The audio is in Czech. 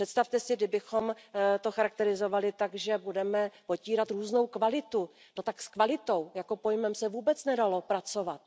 Představte si, kdybychom to charakterizovali tak, že budeme potírat různou kvalitu, no tak s kvalitou jako pojmem se vůbec nedalo pracovat.